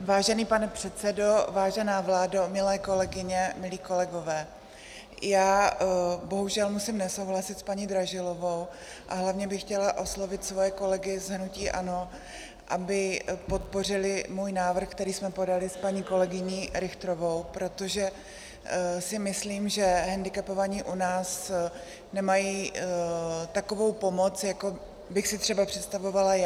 Vážený pane předsedo, vážená vládo, milé kolegyně, milí kolegové, já bohužel musím nesouhlasit s paní Dražilovou a hlavně bych chtěla oslovit svoje kolegy z hnutí ANO, aby podpořili můj návrh, který jsme podaly s paní kolegyní Richterovou, protože si myslím, že hendikepovaní u nás nemají takovou pomoc, jako bych si třeba představovala já.